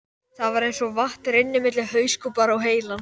Það var eins og vatn rynni milli hauskúpunnar og heilans.